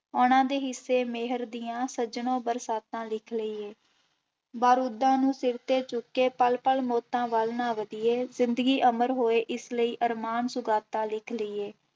ਉਹਨਾਂ ਦੇ ਹਿੱਸੇ ਮਿਹਰ ਦੀਆਂ ਸੱਜਣਾ ਬਰਸਾਤਾਂ ਲਿਖ ਲਈਏ, ਬਾਰੂਦਾਂ ਨੂੰ ਸਿਰ ਤੇ ਚੁੱਕੇ ਪੱਲ ਪੱਲ ਮੌਤਾਂ ਵੱਲ ਨਾ ਵਧੀਏ, ਜ਼ਿੰਦਗੀ ਅਮਰ ਹੋਏ ਇਸ ਲਈ ਅਰਮਾਨ ਸੁਗਾਤਾਂ ਲਿਖ ਲਈਏ।